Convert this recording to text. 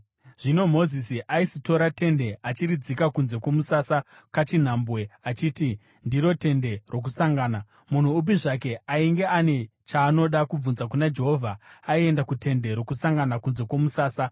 Zvino Mozisi aisitora tende achiridzika kunze kwomusasa kachinhambwe, achiti ndiro “tende rokusangana.” Munhu upi zvake ainge ane chaanoda kubvunza kuna Jehovha aienda kuTende Rokusangana kunze kwomusasa.